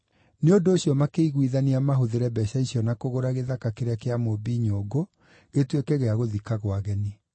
Nĩ ũndũ ũcio makĩiguithania mahũthĩre mbeeca icio na kũgũra gĩthaka kĩrĩa kĩa mũũmbi nyũngũ gĩtuĩke gĩa gũthikagwo ageni.